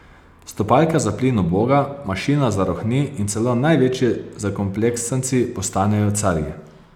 Stopalka za plin uboga, mašina zarohni in celo največji zakompleksanci postanejo carji.